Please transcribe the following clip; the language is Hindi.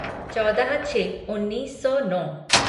चौदह छः उन्नीस सौ नौ